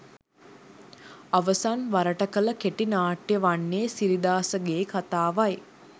අවසන් වරට කළ කෙටි නාට්‍යය වන්නේ සිරිදාසගේ කතාවයි